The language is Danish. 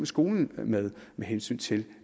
skolen med med hensyn til